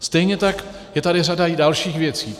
Stejně tak je tady i řada dalších věcí.